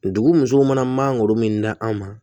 Dugu musow mana mangoro min da an ma